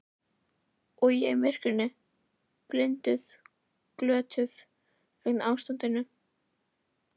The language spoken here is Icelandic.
Og ég í myrkrinu, blinduð, glötuð, vegna ástarinnar.